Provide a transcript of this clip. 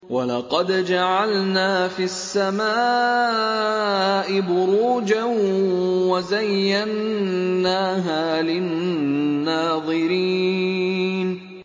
وَلَقَدْ جَعَلْنَا فِي السَّمَاءِ بُرُوجًا وَزَيَّنَّاهَا لِلنَّاظِرِينَ